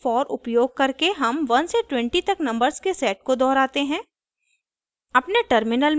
पहले उदाहरण में for उपयोग करके हम 1 से 20 तक नंबर्स के सेट को दोहराते हैं